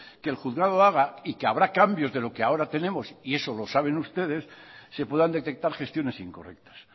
que el juzgado haga y que habrá cambios de los que ahora tenemos y eso lo saben ustedes se puedan detectar gestiones incorrectas